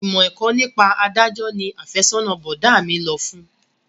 Ìmọ̀ ẹ̀kọ́ nípa adájọ́ ni afẹ́sọ́nà bọ̀dá mi lọ fún